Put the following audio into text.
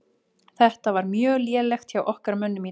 Þetta var mjög lélegt hjá okkar mönnum í dag.